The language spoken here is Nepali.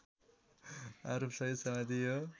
आरोप सहित समातियो